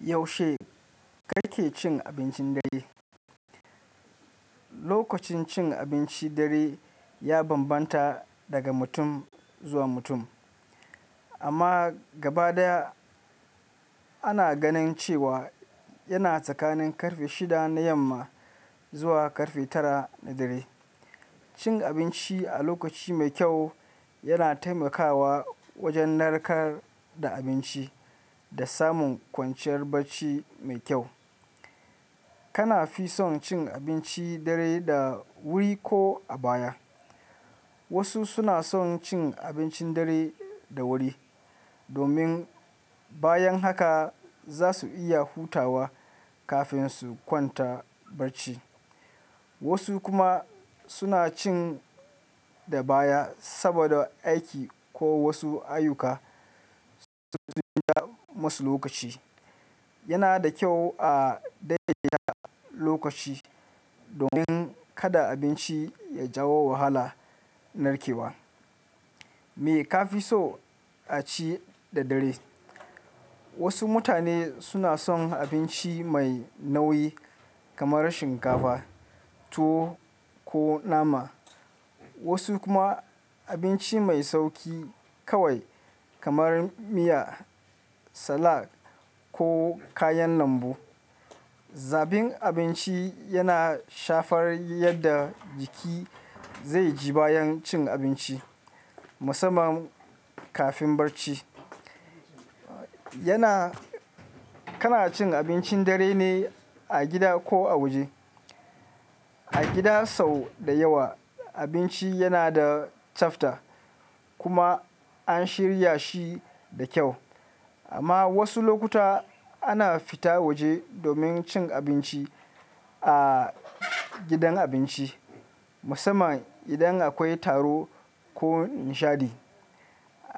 Yaushe kake cin abincin dare? Lokacin cin abinci dare ya bambanta daga mutum zuwa mutum, amma gaba daya ana ganin cewa yana tsakanin ƙarfe shida na yamma zuwa ƙarfe tara na dare. Shin abinci a lokaci mai kyau yana taimakawa wajen narkar da abinci da samun kwanciyar barci mai kyau. Kana fi son cin abinci dare da wuri ko a baya? Wasu suna son cin abincin dare da wuri domin bayan haka za su iya hutawa kafin su kwanta barci. Wasu kuma suna cin da baya saboda aiki ko wasu ayyuka sun ja masu lokaci. Yana da kyau a daidaita lokaci domin kada abinci ya jawo wahala narkewa. Me ka fi so a ci da dare? Wasu mutane suna son abinci mai nauyi kamar shinkafa, tuwo ko nama, wasu kuma abinci mai sauƙi kawai kamar miya, salak ko kayan lambu. Zaɓin abinci yana shafar yadda jiki zai ji bayan cin abinci, musamman kafin barci. Yana-- kana cin abincin dare ne a gida ko a waje? A gida sau da yawa abinci yana da tsafta kuma an shirya shi da kyau. Amma wasu lokuta ana fita waje domin cin abinci a gidan abinci, musamman idan akwai taro ko nishadi.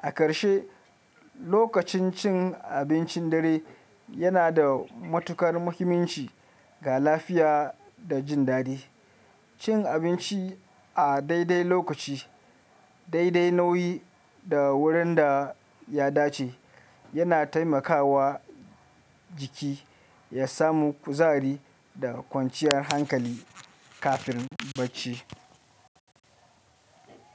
A ƙarshe, lokacin cin abincin dare yana da matuƙar muhimmanci ga lafiya da jin daɗi. Cin abinci a daidai lokaci, daidai nauyi da wurin da ya dace yana taimakawa jiki ya samu kuzari da kwanciyar hankali kafin barci.